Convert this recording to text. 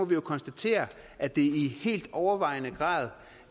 vi jo konstatere at det i helt overvejende grad